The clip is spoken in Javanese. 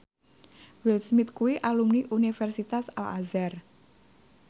Will Smith kuwi alumni Universitas Al Azhar